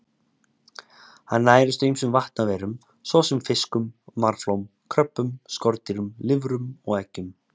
Hann nærist á ýmsum vatnalífverum svo sem fiskum, marflóm, kröbbum, skordýrum, lirfum og eggjum.